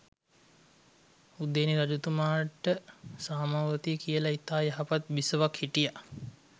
උදේනි රජතුමාට සාමාවතී කියල ඉතා යහපත් බිසවක් හිටියා